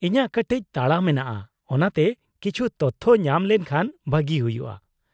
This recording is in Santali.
-ᱤᱧᱟᱹᱜ ᱠᱟᱹᱴᱤᱪ ᱛᱟᱲᱟ ᱢᱮᱱᱟᱜᱼᱟ ᱚᱱᱟᱛᱮ ᱠᱤᱪᱷᱩ ᱛᱚᱛᱷᱚ ᱧᱟᱢ ᱞᱮᱱᱠᱷᱟᱱ ᱵᱷᱟᱹᱜᱤ ᱦᱩᱭᱩᱜᱼᱟ ᱾